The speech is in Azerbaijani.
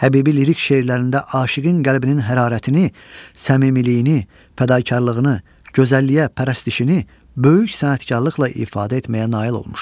Həbibi lirik şeirlərində aşiqin qəlbinin hərarətini, səmimiliyini, fədakarlığını, gözəlliyə pərəstişini böyük sənətkarlıqla ifadə etməyə nail olmuşdur.